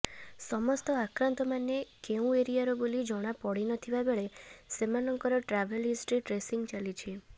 ସମସ୍ତ ଆକ୍ରାନ୍ତମାନେ କେଉଁ ଏରିଆର ବୋଲି ଜଣାପଡ଼ିନଥିବା ବେଳେ ସେମାନଙ୍କର ଟ୍ରାଭେଲ ହିଷ୍ଟ୍ରି ଟ୍ରେସିଂ ଚାଲିଛି